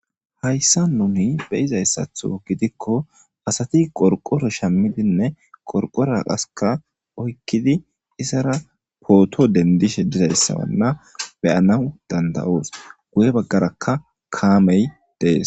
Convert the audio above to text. hayssa nuni beyizayssatho gidikko asati qorqoro shammidinne qorqora qaska oykkidi isara pooto dendishe dizayssabanna beyanaw danda7oos guye baggarakka kaamey dees